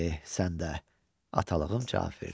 Eh, sən də, atalığım cavab verdi.